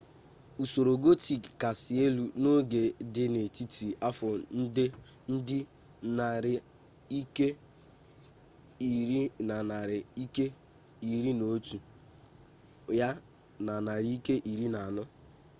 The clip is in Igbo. usoro gotik kasị elu n'oge dị n'etiti afọ ndị nari nke ir na narị nke iri na otu ya na narị nke iri na anọ